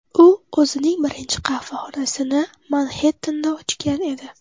U o‘zining birinchi qahvaxonasini Manxettenda ochgan edi.